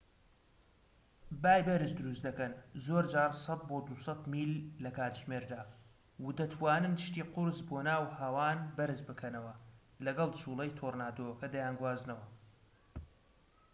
بای بەرز دروست دەکەن زۆرجار 100-200 میل/کاتژمێر و دەتوانن شتی قورس بۆ ناو هەوان بەرز بکەنەوە، لەگەڵ جووڵەی تۆرنادۆکە دەیانگوازنەوە